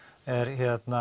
er